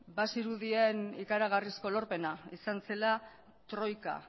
bazirudien ikaragarrizko lorpena izan zela troika